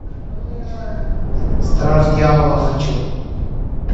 страж дьявола хочу